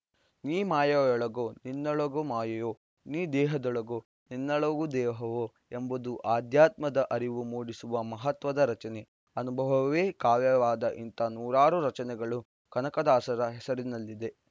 ನೀ ಮಾಯೆಯೊಳಗೋ ನಿನ್ನೊಳಗೊ ಮಾಯೆಯೊ ನೀ ದೇಹದೊಳಗೊ ನಿನ್ನೊಳು ದೇಹವೋ ಎಂಬುದು ಆಧ್ಯಾತ್ಮದ ಅರಿವು ಮೂಡಿಸುವ ಮಹತ್ವದ ರಚನೆ ಅನುಭವವೇ ಕಾವ್ಯವಾದ ಇಂಥ ನೂರಾರು ರಚನೆಗಳು ಕನಕದಾಸರ ಹೆಸರಿನಲ್ಲಿವೆ